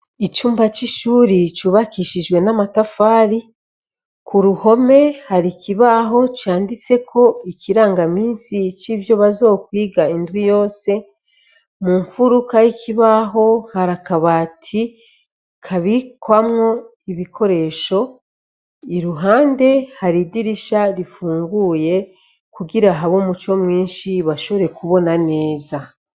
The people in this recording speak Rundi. Icumba c' ishure cubakishijwe n'amatafari ku ruhome hari ikibaho canditseko ikiranga minsi c'ivyo bazokwiga indwi yose, mu mfuruka y' ikibaho hari akabati babikwamwo ibikoresho, iruhande hari idirisha rifunguye kugira habe umuco mwinshi bashobore kubona neza.